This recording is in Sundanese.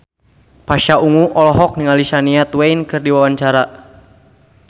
Pasha Ungu olohok ningali Shania Twain keur diwawancara